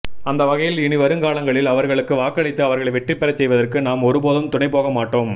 அந்தவகையில் இனிவருங்காலங்களில் அவர்களுக்கு வாக்களித்து அவர்களை வெற்றிபெறச் செய்வதற்கு நாம் ஒருபோதும் துணைபோக மாட்டோம்